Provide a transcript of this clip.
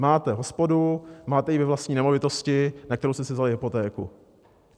Máte hospodu, máte ji ve vlastní nemovitosti, na kterou jste si vzali hypotéku.